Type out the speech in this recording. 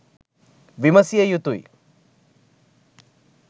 විමසිය යුතුය.